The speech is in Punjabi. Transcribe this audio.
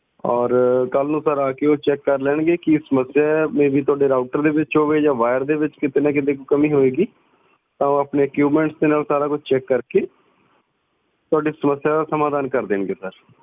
ਔਰ ਕਲ ਨੂੰ ਸਰ ਆ ਕੇ ਉਹ check ਕਰ ਲੈਣਗੇ ਕਿ ਸਮੱਸਿਆ ਆ may be ਤੁਹਾਡੇ router ਵਿੱਚ ਹੋਵੇ ਜਾ wire ਦੇ ਵਿੱਚ ਕੀਤੇ ਨਾ ਕੀਤੇ ਕਮੀ ਹੋਵੇਗੀ ਤਾਂ ਉਹ ਆਪਣੇ equipment ਦੇ ਨਾਲ ਸਾਰਾ ਕੁਝ check ਕਰਕੇ ਤੁਹਾਡੀ ਸਮੱਸਿਆ ਦਾ ਸਮਾਧਾਨ ਕਰ ਦੇਣਗੇ ਸਰ।